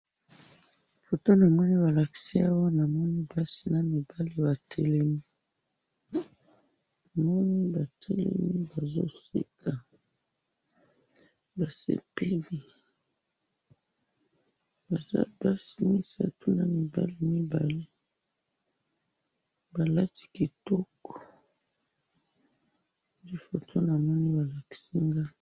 Foto namoni balakisi awa, namoni basi namibali batelemi, namoni batelemi bazoseka, basepeli, baza basi misatu na mibali mibale, balati kitoko, nde foto namoni balakisi nga.